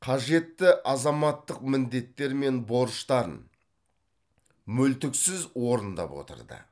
қажетті азаматтық міндеттері мен борыштарын мүлтіксіз орындап отырды